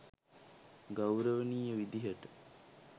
ගෞරවනීය විදිහට